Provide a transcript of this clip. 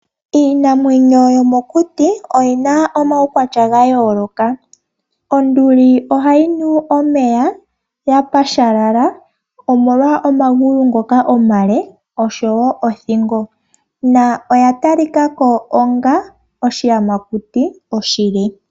Iinamwenyo yomokuti oyi na omaukwatya ga yooloka. Onduli ohayi nu omeya ya pashalala omolwa omagulu ngoka omale, oshowo othingo, na oya talika ko onga oshiyamakuti oshile.